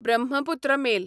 Brahmaputra mail